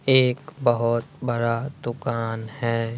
एक बहुत बड़ा दुकान है।